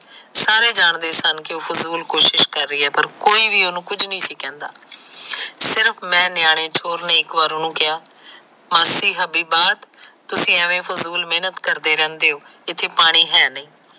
ਸਾਰੇ ਜਾਣ ਦੇ ਸਨ ਕ ਉਹ ਫਜੁਲ ਕੋਸ਼ਿਸ਼ ਕਰ ਰਹੀ ਹੈ ਪਰ ਕੋਈ ਉਸ ਨੂੰ ਕੁਝ ਨਹੀਂ ਸੀ ਕਹਿੰਦਾ ਸ਼ਿਰਫ ਮੈ ਨੇ ਉਸਨੂੰ ਇੱਕ ਵਾਰ ਕਿਹਾ ਮਾਸੀ ਤੂਸੀ ਐਮੇ ਫਜੂਲ ਮਿਹਨਤ ਕਰਦੇ ਰਹਿੰਦੇ ਹੋ ਇਥੇ ਪਾਣੀ ਹੈ ਨੀ